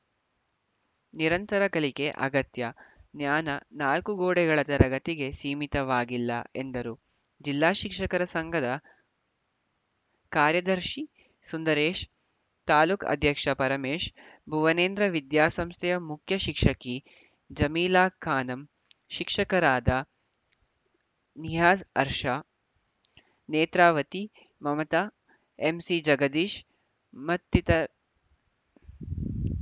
ನಿರಂತರ ಕಲಿಕೆ ಅಗತ್ಯ ಜ್ಞಾನ ನಾಲ್ಕುಗೋಡೆಗಳ ತರಗತಿಗೆ ಸೀಮಿತವಾಗಿಲ್ಲ ಎಂದರು ಜಿಲ್ಲಾ ಶಿಕ್ಷಕರ ಸಂಘದ ಕಾರ‍್ಯದರ್ಶಿ ಸುಂದರೇಶ್‌ ತಾಲೂಕು ಅಧ್ಯಕ್ಷ ಪರಮೇಶ್‌ ಭುವನೇಂದ್ರ ವಿದ್ಯಾಸಂಸ್ಥೆಯ ಮುಖ್ಯಶಿಕ್ಷಕಿ ಜಮೀಲಾಖಾನಂ ಶಿಕ್ಷಕರಾದ ನಿಯಾಜ್‌ಅರ್ಷಾ ನೇತ್ರಾವತಿ ಮಮತಾ ಎಂಸಿಜಗದೀಶ್‌ ಮತ್ತಿತ